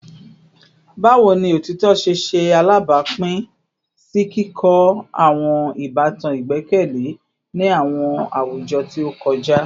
Bawo ni otitọ ṣe ṣe alabapin si kikọ awọn ibatan igbẹkẹle ni awọn awujọ ti o kọja?